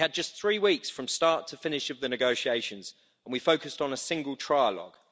We had just three weeks from start to finish of the negotiations and we focused on a single trilogue.